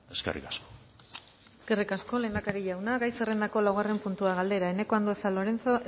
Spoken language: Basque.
eskerrik asko eskerrik asko lehendakari jauna gai zerrendako laugarren puntua galdera eneko andueza lorenzo